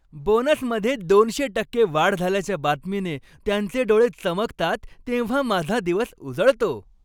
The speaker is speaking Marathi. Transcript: बोनसमध्ये दोनशे टक्के वाढ झाल्याच्या बातमीने त्यांचे डोळे चमकतात तेव्हा माझा दिवस उजळतो.